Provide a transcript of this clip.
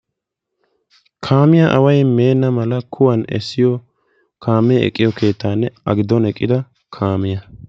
Kaamiya away meena kuwan essiyo keettanne a giddon eqqidda kaamiya.